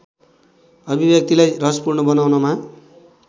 अभिव्यक्तिलाई रसपूर्ण बनाउनमा